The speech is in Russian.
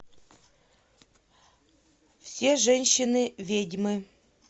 все женщины ведьмы